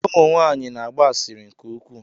Ụmụ nwanyị na-agba asịrị nke ukwuu.